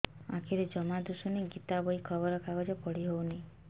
ଆଖିରେ ଜମା ଦୁଶୁନି ଗୀତା ବହି ଖବର କାଗଜ ପଢି ହଉନି